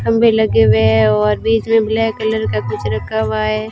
खंभे लगे हुए हैं और बीच में ब्लैक कलर का कुछ रखा हुआ है।